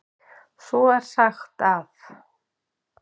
Svo er sagt að.